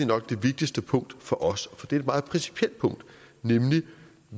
nok vigtigste punkt for os for det er et meget principielt punkt nemlig